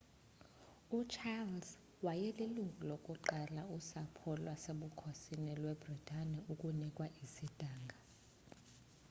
ucharles wayelilungu lokuqala usapho lwasebukhosini lwebritane ukunikwa isidanga